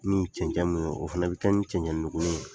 Ni cɛncɛ mun don, o fɛnɛ bɛ kɛ ni cɛncɛnnugunni ye